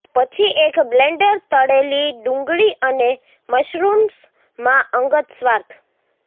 પછી એક બ્લેન્ડર તળેલી ડુંગળી અને મશરૂમ્સ માં અંગત સ્વાર્થ